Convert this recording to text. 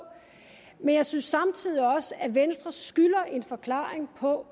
men jeg synes samtidig også at venstre skylder en forklaring på